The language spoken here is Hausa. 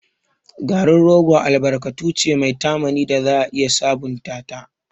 Garin rogo albarkatu ce mai tamani da za a iya sabunta ta.